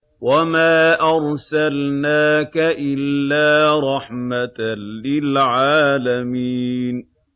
وَمَا أَرْسَلْنَاكَ إِلَّا رَحْمَةً لِّلْعَالَمِينَ